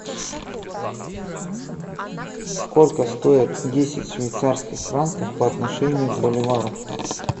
сколько стоит десять швейцарских франков по отношению к боливару